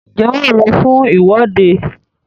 ǹjẹ́ wà á lọ fún ìwọ́de?